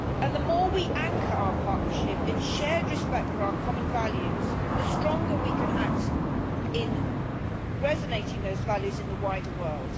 The more we anchor our partnership in shared respect for our common values, the more strongly we can act to resonate those values in the wider world.